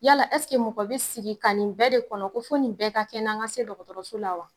Yala mɔgɔ bi sigi ka nin bɛɛ de kɔnɔ, ko fo nin bɛɛ ka kɛ n na, n ga se dɔkɔtɔrɔso la wa ?